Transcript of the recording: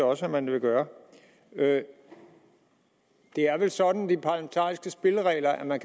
også at man vil gøre det er vel sådan med de parlamentariske spilleregler at man